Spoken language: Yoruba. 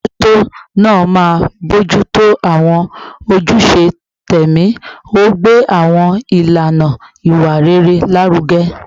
Alámòójútó náà máa ń bójú tó àwọn ojúṣe tẹ̀mí, ó ń gbé àwọn ìlànà ìwà rere lárugẹ